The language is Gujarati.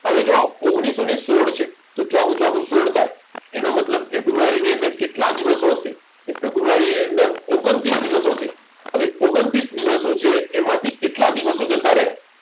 હવે જો ઓગણીસો ને સોડ છે તો ચોકું ચોકું સોડ થાય એનો મતલબ ફેબ્રુઆરી ની અંદર કેટલા દિવસો હશે ફેબ્રુઆરી ની અંદર ઓગ્ન્તૃસ દિવસો હશે ઓગ્ન્તૃસ દિવસો છે એમાંથી કેટલા દિવસો જતા રહે